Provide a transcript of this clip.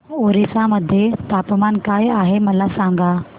ओरिसा मध्ये तापमान काय आहे मला सांगा